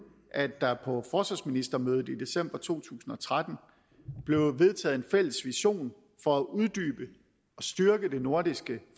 at der på forsvarsministermødet i december to tusind og tretten blev vedtaget en fælles vision for at uddybe og styrke det nordiske